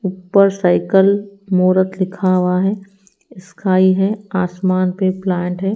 ऊपर साइकल मूरत लिखा हुआ है स्काई है आसमान पे प्लांट है।